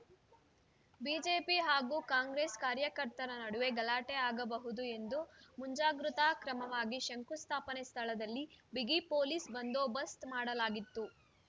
BJP ಹಾಗೂ Congress ಕಾರ್ಯಕರ್ತರ ನಡುವೆ ಗಲಾಟೆ ಆಗಬಹುದು ಎಂದು ಮಂಜಾಗ್ರತಾ ಕ್ರಮಾವಾಗಿ ಶಂಕುಸ್ಥಾಪನೆ ಸ್ಥಳದಲ್ಲಿ ಬಿಗಿ ಪೊಲೀಸ್‌ ಬಂದೋ ಬಸ್ತ್ ಮಾಡಲಾಗಿತ್ತು